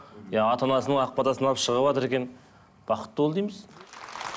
иә ата анасының ақ батасын алып шығыватыр екен бақытты бол дейміз